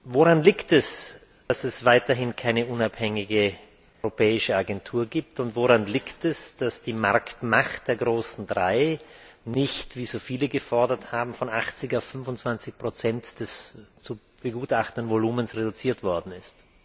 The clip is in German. Woran liegt es, dass es weiterhin keine unabhängige europäische Agentur gibt, und woran liegt es, dass die Marktmacht der großen Drei nicht, wie so viele gefordert haben, von 80 auf 25 des zu begutachtenden Volumens reduziert worden ist?